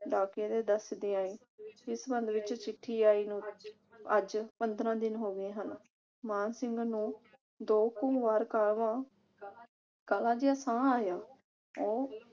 ਡਾਕੀਏ ਨੇ ਦੱਸਦਿਆ ਇਸ ਬੰਗਲੇ ਵਿਚ ਚਿੱਠੀ ਆਈ ਨੂੰ ਅੱਜ ਪੰਦਰਾਂ ਦਿਨ ਹੋ ਗਏ ਹਨ। ਮਾਨ ਸਿੰਘ ਨੂੰ ਦੋ ਕੁ ਵਾਰ